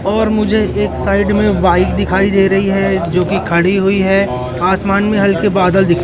और मुझे एक साइड में बाइक दिखाई दे रही हैं जोकि खड़ी हुई है आसमान में हल्के बादल--